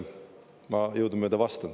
Ma jõudumööda vastan.